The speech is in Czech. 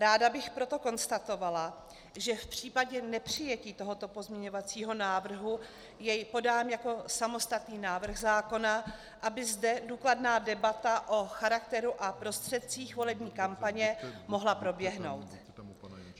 Ráda bych proto konstatovala, že v případě nepřijetí tohoto pozměňovacího návrhu jej podám jako samostatný návrh zákona, aby zde důkladná debata o charakteru a prostředcích volební kampaně mohla proběhnout.